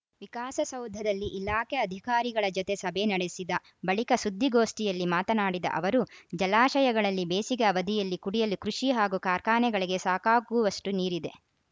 ವಿಕಾಸಸೌಧದಲ್ಲಿ ಇಲಾಖೆ ಅಧಿಕಾರಿಗಳ ಜತೆ ಸಭೆ ನಡೆಸಿದ ಬಳಿಕ ಸುದ್ದಿಗೋಷ್ಠಿಯಲ್ಲಿ ಮಾತನಾಡಿದ ಅವರು ಜಲಾಶಯಗಳಲ್ಲಿ ಬೇಸಿಗೆ ಅವಧಿಯಲ್ಲಿ ಕುಡಿಯಲು ಕೃಷಿ ಹಾಗೂ ಕಾರ್ಖಾನೆಗಳಿಗೆ ಸಾಕಾಗುವಷ್ಟುನೀರಿದೆ